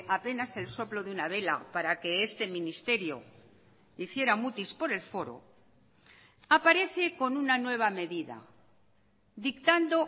apenas el soplo de una vela para que este ministerio hiciera mutis por el foro aparece con una nueva medida dictando